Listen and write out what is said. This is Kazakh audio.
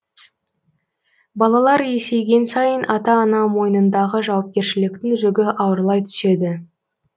балалар есейген сайын ата ана мойнындағы жауапкершіліктің жүгі ауырлай түседі